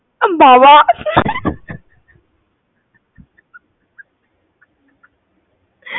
বাবা